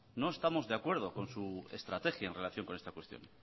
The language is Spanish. no estamos de acuerdo con su estrategia en relación con este cuestión